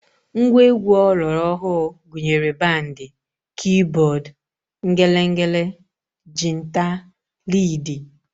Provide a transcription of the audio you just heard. Ngwa egwu ọlọrọọhụụ gụnyere bandị, kiibọọd, ngelengele, jinta, liidi